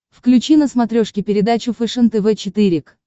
включи на смотрешке передачу фэшен тв четыре к